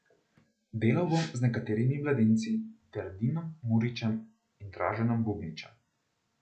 Delal bom z nekaterimi mladinci ter Dinom Muričem in Draženom Bubničem.